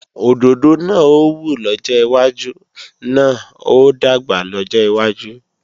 Òdòdó náà ó wù lọ́jọ́ iwájú náà ó dàgbà lọ́jọ́ iwájú